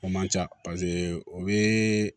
O man ca paseke o bɛ